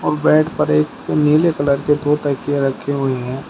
और बेड पर एक नीले कलर के दो तकिया रखे हुए हैं।